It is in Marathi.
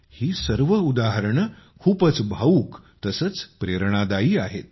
ही सर्व उदाहरणे खूपच भावूक तसेच प्रेरणादायी आहेत